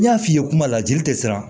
N y'a f'i ye kuma la jeli tɛ siran